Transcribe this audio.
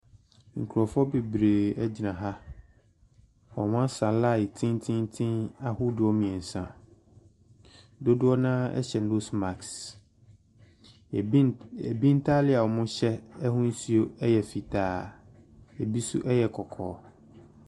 Nkrɔfoɔ beberee egyina ha, ɔmmu asa laen tententen ahodoɔ mmiensa. Dodoɔ naa ɛhyɛ nos maks, ɛbi ntaare ɔmmu hyɛ ahusuo ɛyɛ fitaa, ebi so ɛtɛ kɔkɔɔ.